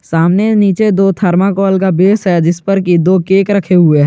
सामने नीचे दो थर्मोकोल का बेस है जिस पर की दो केक रखे हुए है।